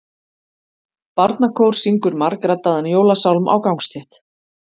Barnakór syngur margraddaðan jólasálm á gangstétt.